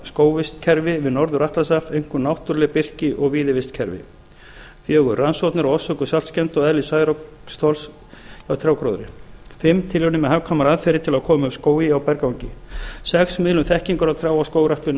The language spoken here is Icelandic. skógarvistkerfi við norður atlantshaf einkum náttúruleg birki og víðivistkerfi fjórða rannsóknir á orsökum saltskemmda og eðli særoksþols hjá trjágróðri fimmta tilraunir með hagkvæmar aðferðir til að koma upp skógi á berangri sjötta miðlun þekkingar á trjá og skógrækt við